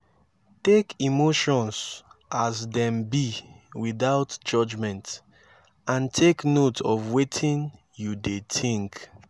take emotions as dem be witout judgment and take note of wetin yu dey tink